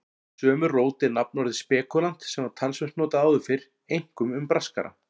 Af sömu rót er nafnorðið spekúlant sem var talsvert notað áður fyrr, einkum um braskara.